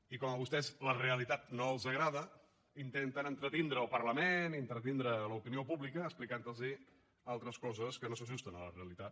i com que a vostès la realitat no els agrada intenten entretenir el parlament i entretenir l’opinió pública explicant los altres coses que no s’ajusten a la realitat